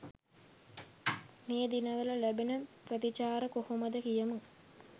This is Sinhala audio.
මේ දිනවල ලැබෙන ප්‍රතිචාර කොහොමද කියමු?